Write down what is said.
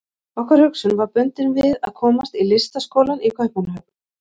Okkar hugsun var bundin við að komast í Listaskólann í Kaupmannahöfn.